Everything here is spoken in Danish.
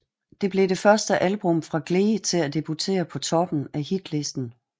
Det blev det første album fra Glee til debutere på toppen af hitlisten